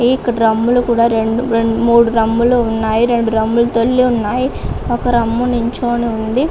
ఇక్కడ డ్రమ్ములు కూడా రెండు మూడు డ్రమ్ములు ఉన్నాయి. రెండు డ్రమ్ములతోనే ఉన్నాయి. ఒక డ్రమ్ము నిల్చొని ఉంది.